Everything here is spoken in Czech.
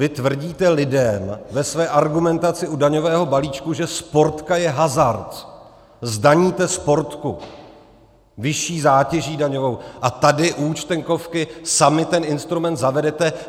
Vy tvrdíte lidem ve své argumentaci u daňového balíčku, že Sportka je hazard, zdaníte Sportku vyšší zátěží daňovou, a tady u Účtenkovky sami ten instrument zavedete.